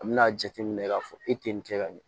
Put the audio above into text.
A bɛna jateminɛ k'a fɔ e tɛ nin kɛ ka ɲɛ